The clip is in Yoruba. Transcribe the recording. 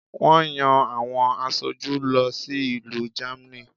Wón yan àwọn asoju lọ sí ìlú Germany